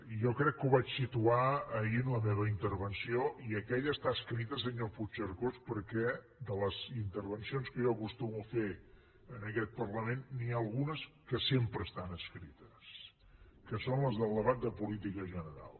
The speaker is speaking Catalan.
jo crec que ho vaig situar ahir en la meva intervenció i aquella està escrita senyor puigcercós perquè de les intervencions que jo acostumo a fer en aquest parlament n’hi ha algunes que sempre estan escrites que són les del debat de política general